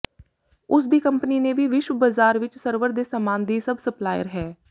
ਉਸ ਦੀ ਕੰਪਨੀ ਨੇ ਵੀ ਵਿਸ਼ਵ ਬਾਜ਼ਾਰ ਵਿਚ ਸਰਵਰ ਦੇ ਸਾਮਾਨ ਦੀ ਸਭ ਸਪਲਾਇਰ ਹੈ